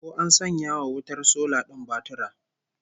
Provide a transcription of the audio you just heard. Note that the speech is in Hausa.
Ko an sanya wa wutar sola din batura?